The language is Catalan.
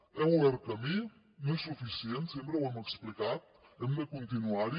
hem obert camí no és suficient sempre ho hem explicat hem de continuar hi